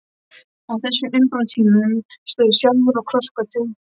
Á þessum umbrotatímum stóð ég sjálfur á krossgötum.